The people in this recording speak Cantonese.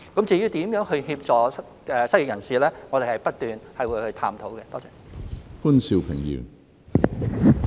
至於如何協助失業人士，我們會不斷探討。